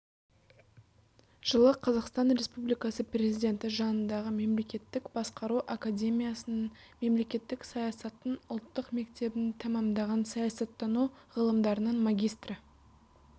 жылы қазақстан республикасы президенті жанындағы мемлекеттік басқару академиясының мемлекеттік саясаттың ұлттық мектебін тәмамдаған саясаттану ғылымдарының магистрі